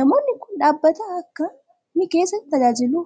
Namoonni kun, dhaabbata akka kamii keessa tajaajilu?